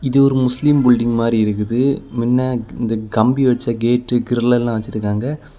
இது ஒரு முஸ்லிம் புல்டிங் மாரி இருக்குது மின்ன இந்த கம்பி வச்ச கேட்டு கிரிலெல்லாம் வச்சிருக்காங்க.